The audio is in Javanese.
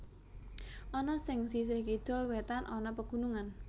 Ana sing sisih kidul wetan ana pegunungan